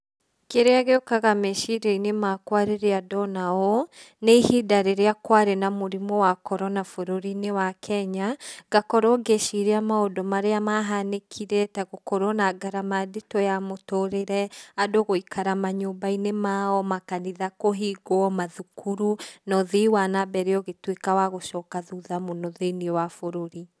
Kĩrĩa gĩũkaga meciria-inĩ makwa rĩrĩa ndona ũũ nĩ ihinda rĩrĩa kwarĩ na mũrimũ wa Corona bũrũri-inĩ wa Kenya, ngakorwo ngĩciria maũndũ marĩa mahanĩkire ta gũkorwo na ngarama nditũ ya mũtũrĩre, andũ gũikara manyũmba-inĩ mao, makanitha kũhingwo, mathukuru na ũthii na na mbere ũgĩtuĩka wa gũcoka thutha mũno thĩiniĩ wa bũrũri.